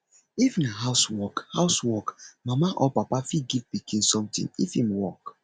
if na house work house work mama or papa fit give pikin something if im work